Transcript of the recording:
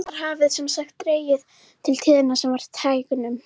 En nú hafði sem sagt dregið til tíðinda af verra taginu.